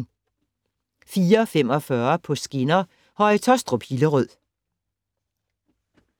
04:45: På skinner: HøjeTaastrup - Hillerød